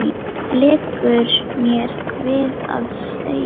liggur mér við að segja.